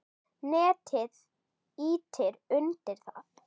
Netið ýti undir það.